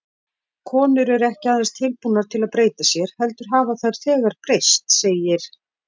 Konur eru ekki aðeins tilbúnar til að breyta sér, heldur hafa þær þegar breyst, segir